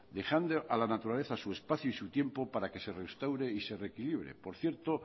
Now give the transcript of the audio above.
dejando a la naturaleza su espacio y su tiempo para que restaure y se reequilibre por cierto